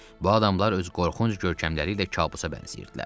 Bu adamlar öz qorxunc görkəmləri ilə kabusa bənzəyirdilər.